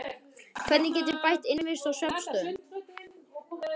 Hvernig get ég bætt innivist og svefnaðstöðu?